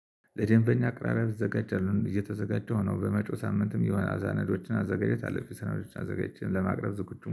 ለደንበኛ አቅራረብ እዘጋጃለሁ እየተዘጋጀሁ ነው። በመጪው ሳምንትም የሆነ ሰነዶችን ማዘጋጀት አለብኝ ሰነዶችን አዘጋጅቼ ለማቅረብ ዝግጁ